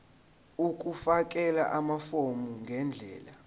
ukufakela amafomu ngendlela